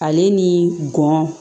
Ale ni gɔn